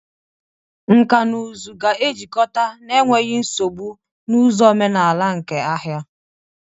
Nkà na ụzụ ga-ejikọta n'enweghị nsogbu na ụzọ omenala nke ahịa.